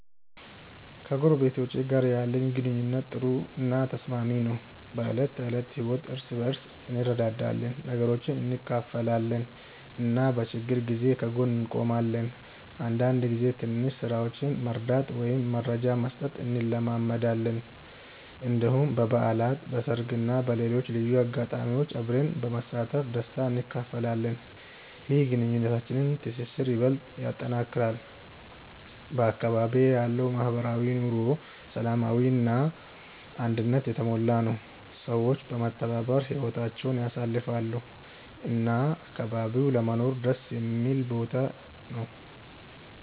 ከጎረቤቶቼ ጋር ያለኝ ግንኙነት ጥሩ እና ተስማሚ ነው። በዕለት ተዕለት ህይወት እርስ በርስ እንረዳዳለን፣ ነገሮችን እንካፈላለን እና በችግር ጊዜ ከጎን እንቆማለን። አንዳንድ ጊዜ ትንሽ ስራዎችን መርዳት ወይም መረጃ መስጠት እንለማመዳለን። እንዲሁም በበዓላት፣ በሰርግ እና በሌሎች ልዩ አጋጣሚዎች አብረን በመሳተፍ ደስታ እንካፈላለን። ይህ የግንኙነታችንን ትስስር ይበልጥ ያጠናክራል። በአካባቢዬ ያለው ማህበራዊ ኑሮ ሰላማዊ እና አንድነት የተሞላ ነው፤ ሰዎች በመተባበር ህይወታቸውን ያሳልፋሉ እና አካባቢው ለመኖር ደስ የሚል ቦታ ነው።